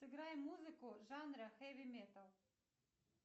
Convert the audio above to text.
сыграй музыку жанра хеви метал